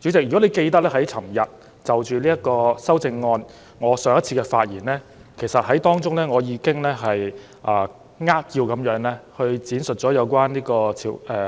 主席，如果你記得，我在昨天就着修正案發言時，已經扼要闡述了《條例